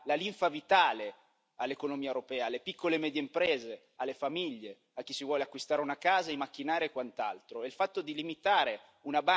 Il credito è quello che dà la linfa vitale all'economia europea, alle piccole e medie imprese, alle famiglie, a chi vuole acquistare una casa, macchinari e quant'altro.